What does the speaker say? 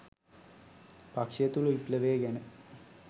පක්ෂය තුළ විප්ලවය ගැන